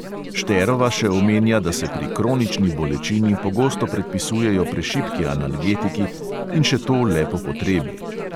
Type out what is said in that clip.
Šterova še omenja, da se pri kronični bolečini pogosto predpisujejo prešibki analgetiki in še to le po potrebi.